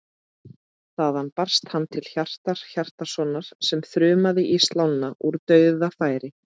Þaðan barst hann til Hjartar Hjartarsonar sem þrumaði í slána úr dauðafæri.